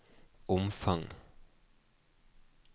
omfang